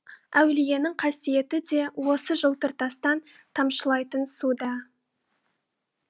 әулиенің қасиеті де осы жылтыр тастан тамшылайтын суда